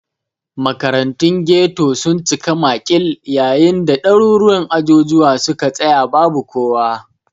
Makarantun ghetto sun cika makil, yayin da daruruwan ajujuwa suka tsaya babu kowa